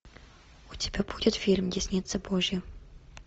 у тебя будет фильм десница божья